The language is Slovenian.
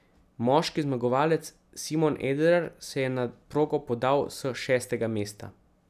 Moški zmagovalec Simon Eder se je na progo podal s šestega mesta.